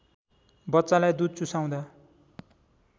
बच्चालाई दूध चुसाउँदा